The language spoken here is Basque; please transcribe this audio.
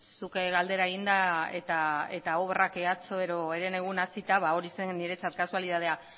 zuk ere galdera eginda eta obrak atzo edo herenegun hasita ba hori zen niretzat kasualitatea